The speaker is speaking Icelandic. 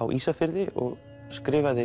á Ísafirði og skrifaði